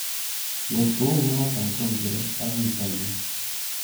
Ngot kounoto ko ngiro ak kiit ano